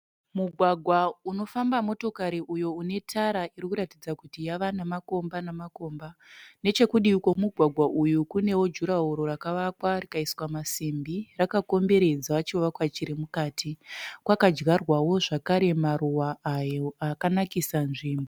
Mugwagwa unofamba motokari uyo une tara iri kuratidza kuti yava namakomba namakomba. Nechekudivi kwemugwagwa uyu kunewo jurahoro rakavakwa rikaiswa masimbi rakakomberedza chivakwa chiri mukati. Kwakadyarwawo zvakare maruva ayo akanakisa nzvimbo.